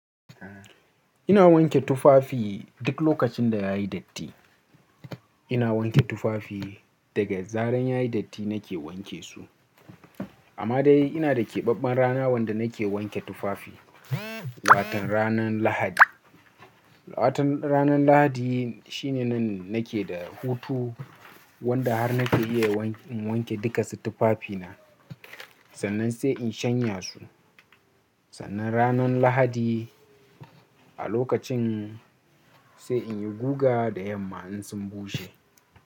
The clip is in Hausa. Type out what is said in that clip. Ina wanke tufafi, duk lokacin da ya yi datti. Ina wanke tufafi, daga zarar ya yi datti na ke wanke su. Amma dai ina da keɓaɓɓen rana wanda na ke wanke tufafi, wato ranan Lahadi. Wato ranan Lahadi shi ne nan na ke da hutu wanda har na ke iya in wanke duka su tufafi na, sannan sai in shanya su. Sannan ranan Lahadi a lokacin sai in yi guga da yamma in sun bushe.